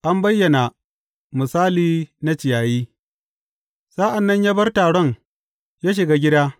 An bayyana misali na ciyayi Sa’an nan ya bar taron ya shiga gida.